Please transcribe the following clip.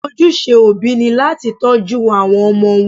Ojúṣe òbí ni láti tọ́jú àwọn ọmọ wọn.